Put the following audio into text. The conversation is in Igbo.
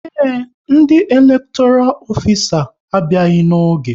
Ee, ndị elektoral ofisa a abịaghị n'oge